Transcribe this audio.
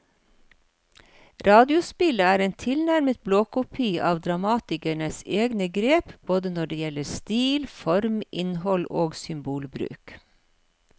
Radiospillet er en tilnærmet blåkopi av dramatikerens egne grep både når det gjelder stil, form, innhold og symbolbruk.